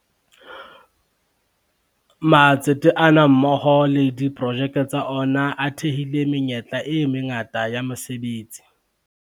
Matsete ana mmoho le diprojeke tsa ona a thehile menyetla e mangata ya mese betsi.